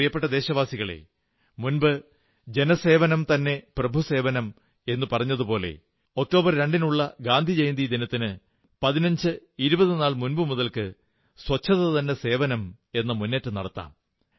എന്റെ പ്രിയപ്പെട്ട ദേശവാസികളേ മുമ്പ് ജന സേവനം തന്നെ ദൈവ സേവനം എന്നു പറഞ്ഞിരുന്നതുപോലെ ഒക്ടോബർ 2 നുള്ള ഗാന്ധി ജയന്തി ദിനത്തിന് 1520 നാൾ മുമ്പു മുതൽക്ക് ശുചിത്വം തന്നെ സേവനം എന്ന മുന്നേറ്റം നടത്താം